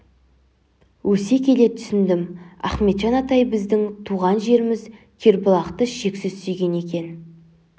өсе келе түсіндім ахметжан атай біздің туған жеріміз кербұлақты шексіз сүйген екен